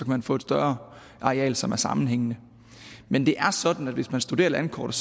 man få et større areal som er sammenhængende men det er sådan at man hvis man studerer landkortet